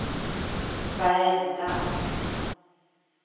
varenda